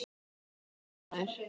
Og fólkið maður.